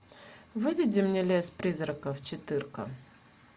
выведи мне лес призраков четырка